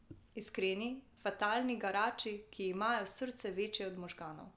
Iskreni, fatalni garači, ki imajo srce večje od možganov.